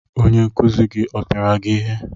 Onye nkuzi gị ọ pịara gị ihe?